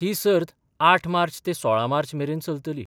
ही सर्त आठ मार्च ते सोळा मार्च मेरेन चलतली.